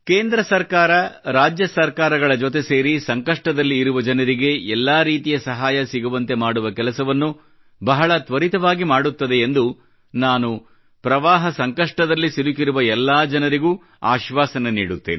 ಕೇಂದ್ರ ಸರ್ಕಾರವು ರಾಜ್ಯ ಸರ್ಕಾರಗಳ ಜೊತೆ ಸೇರಿ ಸಂಕಷ್ಟದಲ್ಲಿ ಇರುವ ಜನರಿಗೆ ಎಲ್ಲಾ ರೀತಿಯ ಸಹಾಯ ಸಿಗುವಂತೆ ಮಾಡುವ ಕೆಲಸವನ್ನು ಬಹಳ ತ್ವರಿತವಾಗಿ ಮಾಡುತ್ತದೆ ಎಂದು ನಾನು ಪ್ರವಾಹದ ಸಂಕಷ್ಟದಲ್ಲಿ ಸಿಲುಕಿರುವ ಎಲ್ಲಾ ಜನರಿಗೂ ಆಶ್ವಾಸನೆ ನೀಡುತ್ತೇನೆ